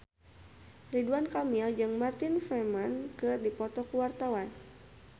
Ridwan Kamil jeung Martin Freeman keur dipoto ku wartawan